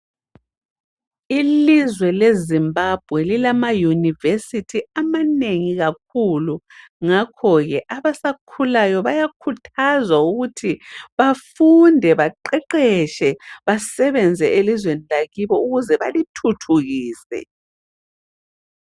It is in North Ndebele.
Ilizwe leZimbabwe lilama University amanengi kakhulu. Ngakhoke abasakhulayo bayakhuthazwa ukuthi bafunde baqeqetshe basebenze elizweni lakibo ukuze balithuthukise.